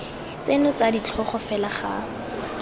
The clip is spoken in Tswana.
tseno tsa ditlhogo fela ga